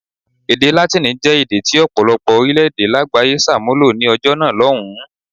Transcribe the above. Èdè Látíìnì jẹ́ èdè tí ọ̀pọ̀lọpọ̀ orílẹ̀-èdè lágbàáyé ṣàmúlò ní ọjọ́ náà lọ́hùn-ún.